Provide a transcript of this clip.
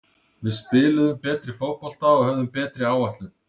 Við spiluðum betri fótbolta og höfðum betri áætlun.